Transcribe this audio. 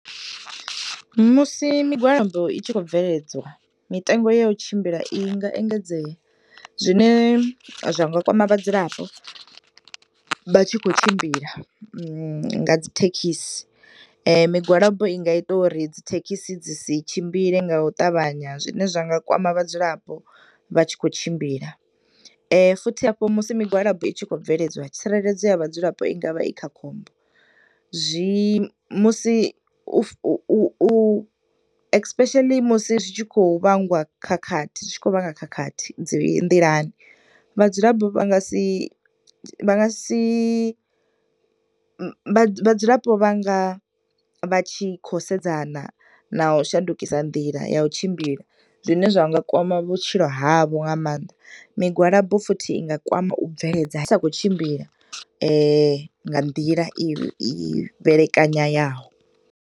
Musi migwalabo i tshi khou bveledzwa mitengo ya u tshimbila i nga engedzea, zwine zwa nga kwama vhadzulapo vha tshi khou tshimbila nga dzithekhisi. Migwalabo i nga ita uri dzi thekhisi dzi si tshimbile nga u ṱavhanya zwine zwa nga kwama vhadzulapo vha tshi khou tshimbila, futhi hafho musi migwalabo i tshi khou bveledzwa tsireledzo ya vhadzulapo i ngavha i kha khombo. Zwi musi u u u u especially musi zwi tshi khou vhangwa khakhathi, zwi tshi khou vhanga khakhathi dzi nḓilani. Vhadzulapo vha nga si, vha nga si, vha dzulapo vha nga vha tshi khou sedzana na u shandukisa nḓila ya u tshimbila, zwine zwa nga kwama vhutshilo havho ha ma, migwalabo futhi i nga kwama u bveledza zwi sa khou tshimbila nga nḓila ine, i fhelekanyaho.